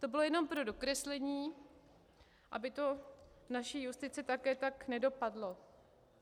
To bylo jenom pro dokreslení, aby to v naší justici také tak nedopadlo.